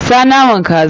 Sa naman kaza!